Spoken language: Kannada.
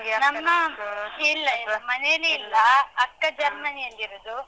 ನಮ್ಮ, ಇಲ್ಲ ಇಲ್ಲ. ಮನೆಯಲ್ಲಿ ಇಲ್ಲ. ಅಕ್ಕ ಜರ್ಮನಿಯಲ್ಲಿರುದು.